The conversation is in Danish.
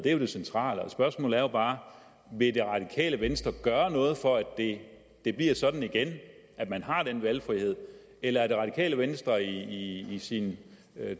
er jo det centrale spørgsmålet er bare vil det radikale venstre gøre noget for at det bliver sådan igen at man har den valgfrihed eller er det radikale venstre i sin